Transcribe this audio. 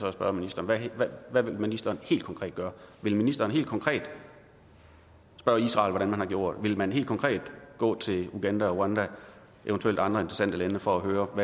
at spørge ministeren hvad vil ministeren helt konkret gøre vil ministeren helt konkret spørge israel hvordan man har gjort vil man helt konkret gå til uganda og rwanda og eventuelt andre interessante lande for at høre om